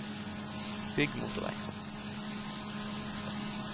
bygg motorveg